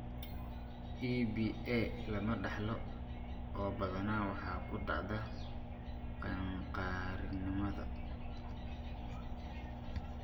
EBA lama dhaxlo oo badanaa waxay ku dhacdaa qaangaarnimada.